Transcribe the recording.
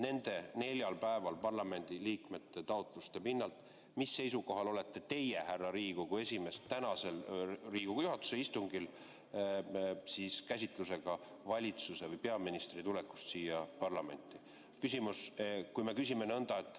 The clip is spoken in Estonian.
Nendel neljal päeval parlamendi liikmete taotluste pinnalt, mis seisukohal olete teie, härra Riigikogu esimees, tänasel Riigikogu juhatuse istungil, käsitledes peaministri tulekut parlamenti?